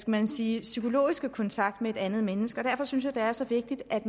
man sige psykologiske kontakt med et andet menneske og derfor synes jeg det er så vigtigt at